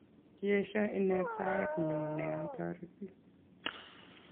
Kiesho inet saet nyu ne atoreti